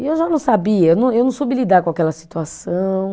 E eu já não sabia, eu não, eu não soube lidar com aquela situação.